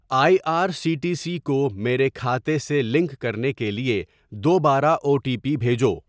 آئی R C T C کو میرے کھاتے سے لنک کرنے کے لیے دوبارہ او ٹی پی بھیجو۔